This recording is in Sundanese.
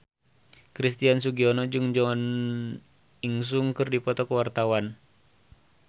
Christian Sugiono jeung Jo In Sung keur dipoto ku wartawan